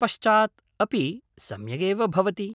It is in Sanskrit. पश्चात् अपि सम्यगेव भवति।